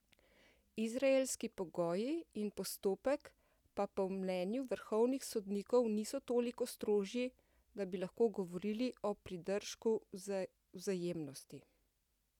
Izraelski pogoji in postopek pa po mnenju vrhovnih sodnikov niso toliko strožji, da bi lahko govorili o pridržku vzajemnosti.